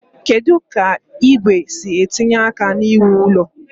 Kedu ka igwe si etinye aka n'iwu ụlọ?